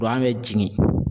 bɛ jigin.